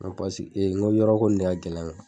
N ko n ko yɔrɔko in de ka gɛlɛn .